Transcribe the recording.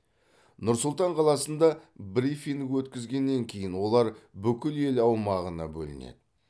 нұр сұлтан қаласында брифинг өткізгеннен кейін олар бүкіл ел аумағына бөлінеді